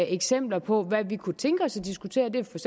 eksempler på hvad vi kunne tænke os at diskutere det er for